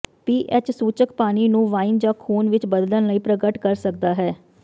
ਪੀ H ਸੂਚਕ ਪਾਣੀ ਨੂੰ ਵਾਈਨ ਜਾਂ ਖੂਨ ਵਿੱਚ ਬਦਲਣ ਲਈ ਪ੍ਰਗਟ ਕਰ ਸਕਦਾ ਹੈ